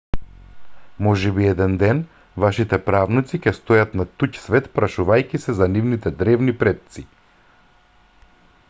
можеби еден ден вашите правнуци ќе стојат на туѓ свет прашувајќи се за нивните древни предци